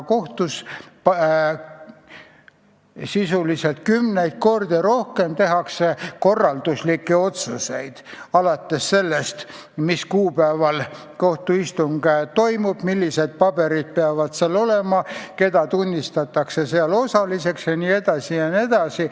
Sisuliselt kümneid kordi rohkem tehakse kohtus korralduslikke otsuseid, alates sellest, mis kuupäeval kohtuistung toimub, millised paberid peavad olema, keda tunnistatakse osalisteks jne, jne.